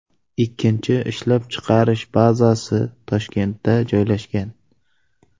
Ikkinchi ishlab chiqarish bazasi Toshkentda joylashgan.